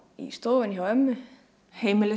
í stofunni hjá ömmu